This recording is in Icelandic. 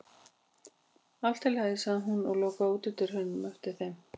Allt í lagi, sagði hún og lokaði útidyrunum á eftir þeim.